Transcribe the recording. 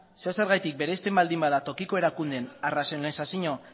zeozergatik bereizten baldin bada tokiko erakundeen arrazionalizazio